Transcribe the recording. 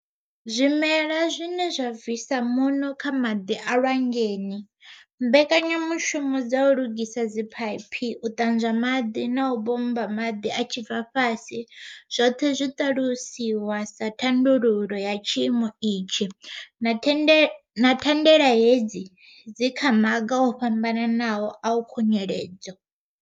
Zwimela zwine zwa bvisa muṋo kha maḓi a lwanzheni, mbekanya mushumo dza u lugisa dziphaiphi, u ṱanzwa maḓi na u bommba maḓi a tshi bva fhasi zwoṱhe zwi ṱalusiwa sa thandululo ya tshiimo itshi, na thandela hedzi dzi kha maga o fhambanaho a khunyeledzo.